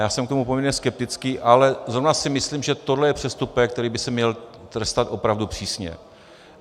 Já jsem k tomu poměrně skeptický, ale zrovna si myslím, že tohle je přestupek, který by se měl trestat opravdu přísně.